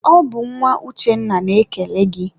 ọ bụ nwa Uchenna na-ekele gị.